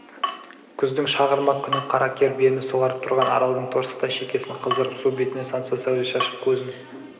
күздің шағырмақ күні қара кер биені суарып тұрған аралдың торсықтай шекесін қыздырып су бетіне сансыз сәуле шашып көзін